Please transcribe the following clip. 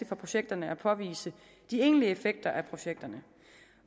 projekterne at påvise de egentlige effekter af projekterne